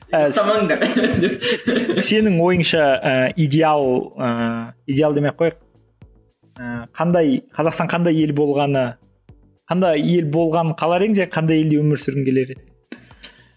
ұстамаңдар сенің ойыңша і идеал ііі идеал демей кояйық ііі қандай қазақстан қандай ел болғаны қандай ел болғанын қалар едің және қандай елде өмір сүргің келер еді